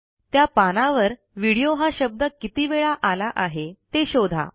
त्या पानावर व्हिडिओ हा शब्द किती वेळा आला आहे ते शोधा